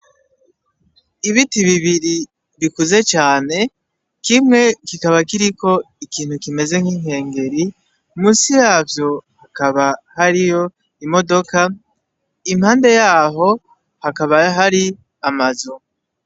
Ibiti bibiri vikuze cane, kimwe kikaba kiriko ikinti kimeze nk'ingengeri, musi yavyo hakaba hariyo imodoka, impande yaho hakaba hari amazu.